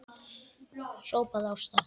hrópaði Ása.